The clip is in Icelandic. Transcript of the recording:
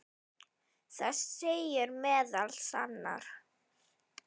Það segir meðal annars